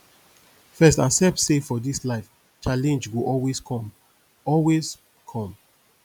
first accept say for dis life challenge go always com always com